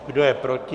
Kdo je proti?